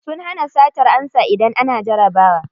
Sun hana satar ansa idan ana jarabawa.